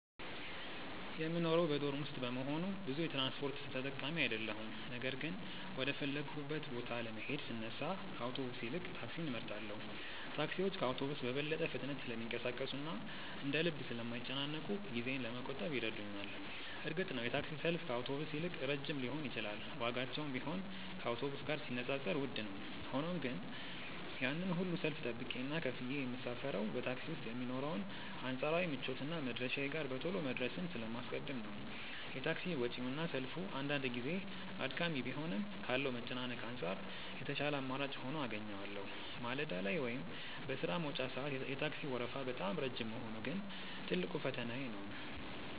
የምኖረው በዶርም ውስጥ በመሆኑ ብዙ የትራንስፖርት ተጠቃሚ አይደለሁም ነገር ግን ወደ ፈለግኩበት ቦታ ለመሄድ ስነሳ ከአውቶቡስ ይልቅ ታክሲን እመርጣለሁ። ታክሲዎች ከአውቶቡስ በበለጠ ፍጥነት ስለሚንቀሳቀሱና እንደ ልብ ስለማይጨናነቁ ጊዜዬን ለመቆጠብ ይረዱኛል። እርግጥ ነው የታክሲ ሰልፍ ከአውቶቡስ ይልቅ ረጅም ሊሆን ይችላል ዋጋቸውም ቢሆን ከአውቶቡስ ጋር ሲነጻጸር ውድ ነው። ሆኖም ግን ያንን ሁሉ ሰልፍ ጠብቄና ከፍዬ የምሳፈረው በታክሲ ውስጥ የሚኖረውን አንጻራዊ ምቾትና መድረሻዬ ጋር በቶሎ መድረስን ስለማስቀድም ነው። የታክሲ ወጪውና ሰልፉ አንዳንድ ጊዜ አድካሚ ቢሆንም ካለው መጨናነቅ አንጻር የተሻለ አማራጭ ሆኖ አገኘዋለሁ። ማለዳ ላይ ወይም በሥራ መውጫ ሰዓት የታክሲው ወረፋ በጣም ረጅም መሆኑ ግን ትልቁ ፈተናዬ ነው።